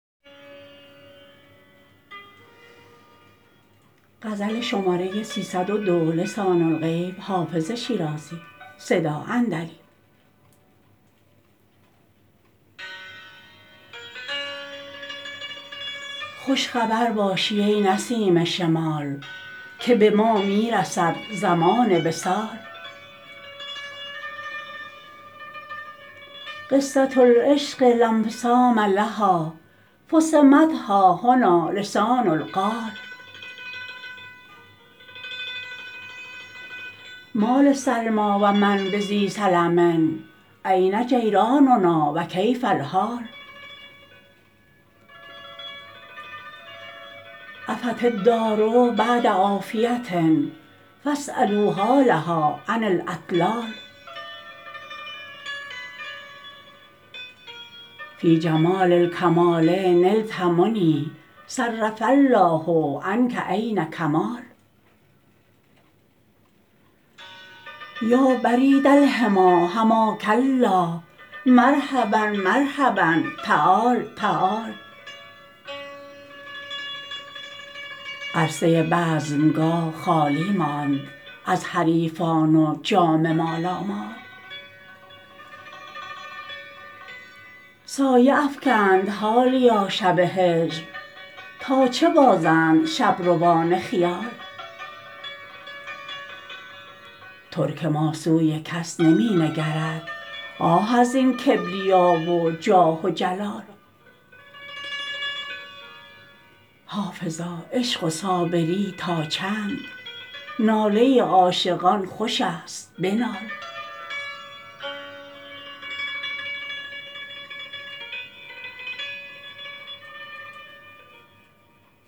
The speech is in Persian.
خوش خبر باشی ای نسیم شمال که به ما می رسد زمان وصال قصة العشق لا انفصام لها فصمت ها هنا لسان القال ما لسلمی و من بذی سلم أین جیراننا و کیف الحال عفت الدار بعد عافیة فاسألوا حالها عن الاطلال فی جمال الکمال نلت منی صرف الله عنک عین کمال یا برید الحمی حماک الله مرحبا مرحبا تعال تعال عرصه بزمگاه خالی ماند از حریفان و جام مالامال سایه افکند حالیا شب هجر تا چه بازند شبروان خیال ترک ما سوی کس نمی نگرد آه از این کبریا و جاه و جلال حافظا عشق و صابری تا چند ناله عاشقان خوش است بنال